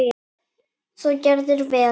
Þú gerðir vel!